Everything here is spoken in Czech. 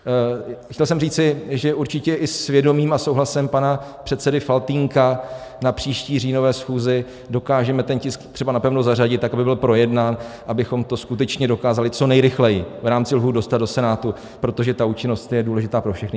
Chtěl jsem říci, že určitě i s vědomím a souhlasem pana předsedy Faltýnka na příští říjnové schůzi dokážeme ten tisk třeba napevno zařadit tak, aby byl projednán, abychom to skutečně dokázali co nejrychleji v rámci lhůt dostat do Senátu, protože ta účinnost je důležitá pro všechny.